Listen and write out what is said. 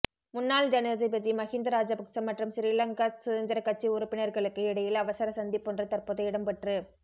முன்னாள் ஜனாதிபதி மஹிந்த ராஜபக்ச மற்றும் சிறிலங்கா சுதந்திர கட்சி உறுப்பினர்களுக்கு இடையில் அவசர சந்திப்பொன்று தற்போது இடம்பெற்று